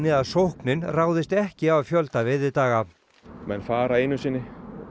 að sóknin ráðist ekki af fjölda veiðidaga menn fara einu sinni